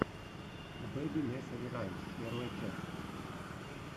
бэби несери раймс первая часть